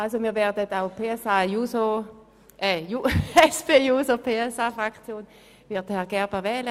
Die SP-JUSO-PSA-Fraktion wird Herrn Gerber auch wählen.